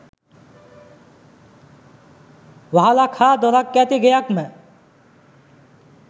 වහලක් හා දොරක් ඇති ගෙයක් ම